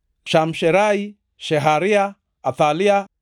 Shamsherai, Sheharia, Athalia,